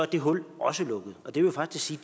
det hul også lukket det vil faktisk sige